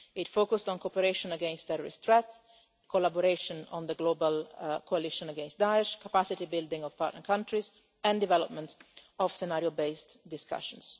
It focused on cooperation against terrorist threats, collaboration on the global coalition against Daesh, capacity building of partner countries and development of scenario-based discussions.